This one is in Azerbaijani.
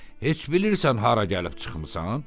Heç bilirsən hara gəlib çıxmısan?